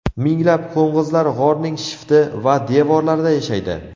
Minglab qo‘ng‘izlar g‘orning shifti va devorlarida yashaydi.